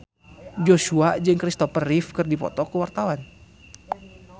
Joshua jeung Kristopher Reeve keur dipoto ku wartawan